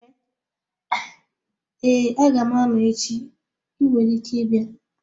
Ee aga m-anọ echi, ị nwere ike ịbịa